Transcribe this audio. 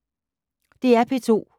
DR P2